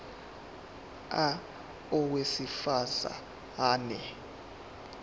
a owesifaz ane